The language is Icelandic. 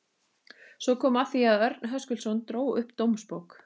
Svo kom að því að Örn Höskuldsson dró upp dómsbók